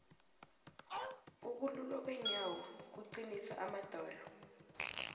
ukululwa kweenyawo kuqinisa amadolo